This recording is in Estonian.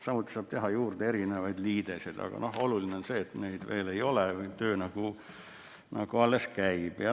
Samuti saab teha juurde erinevaid liideseid, aga oluline on see, et neid veel ei ole, töö alles käib.